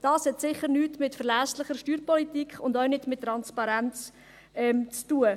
Dies hat sicher nichts mit verlässlicher Steuerpolitik und auch nichts mit Transparenz zu tun.